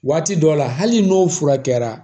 Waati dɔw la hali n'o furakɛra